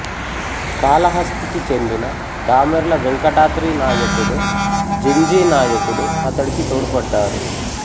కాళహస్తికి చెందిన దామెర్ల వెంకటాద్రి నాయకుడు జింజీ నాయకుడు అతడికి తోడ్పడ్డారు